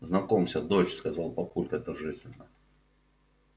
знакомься дочь сказал папулька торжественно